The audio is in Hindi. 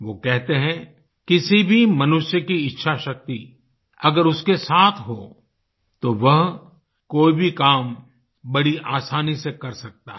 वो कहते हैं किसी भी मनुष्य की इच्छाशक्ति अगर उसके साथ हो तो वह कोई भी काम बड़ी आसानी से कर सकता है